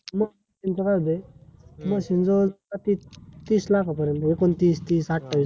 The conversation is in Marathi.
मग त्यांचा काय होतेय? machine जवळ तीस तीस लाखा पर्यंत ऐकोन तीस तीस अठावीस